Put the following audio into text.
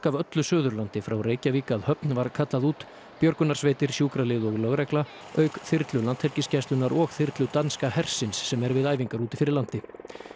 af öllu Suðurlandi frá Reykjavík að Höfn var kallað út björgunarsveitir sjúkralið og lögregla auk þyrlu Landhelgisgæslunnar og þyrlu danska hersins sem er við æfingar úti fyrir landi